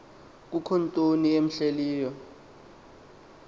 kukho ntoni imhleleyo